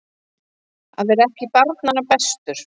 Að vera ekki barnanna bestur